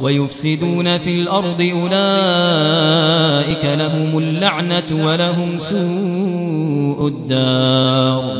وَيُفْسِدُونَ فِي الْأَرْضِ ۙ أُولَٰئِكَ لَهُمُ اللَّعْنَةُ وَلَهُمْ سُوءُ الدَّارِ